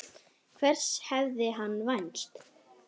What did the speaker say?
Hvers hafði hann vænst?